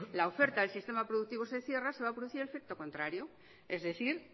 la oferta del sistema productivo se cierra se va a producir el efecto contrario es decir